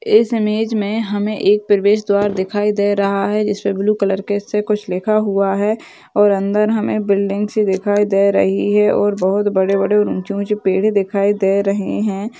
इस इमेज मे हमे एक प्रवेशद्वार दिखाई दे रहा है जिसमे ब्लू कलर के इससे कुछ लिखा हुआ है और अंदर हमे बिल्डिंग सी दिखाई दे रही है और बहुत बड़े बड़े और ऊंची ऊंची पेड़े दिखाई दे रही है।